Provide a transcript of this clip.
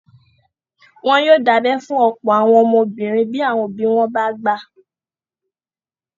Wọ́n yóò dábẹ́ fún ọ̀pọ̀ àwọn ọmọbìnrin bí àwọn òbí wọn bá gbà